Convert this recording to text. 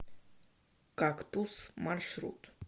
кактус маршрут